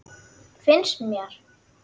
Finnst mér.